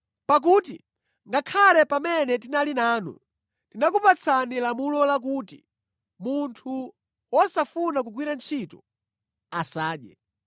Pakuti ngakhale pamene tinali nanu, tinakupatsani lamulo lakuti, “Munthu wosafuna kugwira ntchito, asadye.”